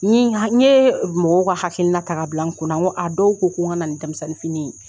N ye mɔgɔw ka hakilina ta ka bila n kun na dɔw ko ko n ka na ni denmisɛnninfini ye